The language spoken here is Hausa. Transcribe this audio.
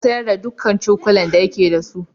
Ya sayar da dukkan cokulan da yake da su.